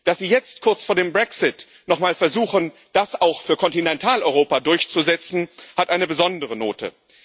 Dass Sie jetzt kurz vor dem Brexit nochmal versuchen, das auch für Kontinentaleuropa durchzusetzen, hat eine besondere Note.